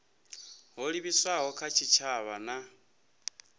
ho livhiswaho kha tshitshavha na